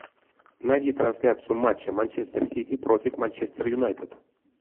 найди трансляцию матча манчестер сити против манчестер юнайтед